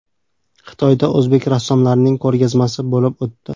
Xitoyda o‘zbek rassomlarining ko‘rgazmasi bo‘lib o‘tdi.